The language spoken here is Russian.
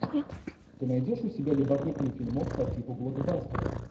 ты найдешь у себя любопытный фильмок по типу блокбастера